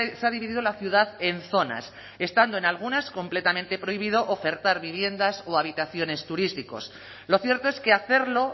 se ha dividido la ciudad en zonas estando en algunas completamente prohibido ofertar viviendas o habitaciones turísticas lo cierto es que hacerlo